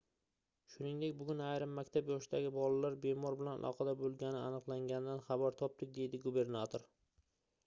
shuningdek bugun ayrim maktab yoshidagi bolalar bemor bilan aloqada boʻlgani aniqlanganidan xabar topdik - dedi gubernator